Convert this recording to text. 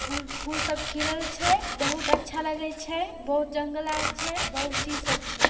फूल सब खिलल छै बहुत अच्छा लगे छै बहुत जंगल आर छै बहुत चीज सब छै।